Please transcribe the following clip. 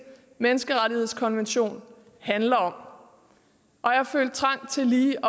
menneskerettighedskonvention handler om og jeg følte trang til lige